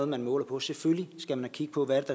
man måler på selvfølgelig skal man kigge på hvad